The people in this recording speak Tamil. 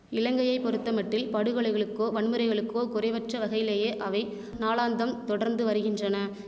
இலங்கையை பொறுத்தமட்டில் படுகொலைகளுக்கோ வன்முறைகளுக்கோ குறைவற்ற வகையிலேயே அவை நாளாந்தம் தொடர்ந்து வருகின்றன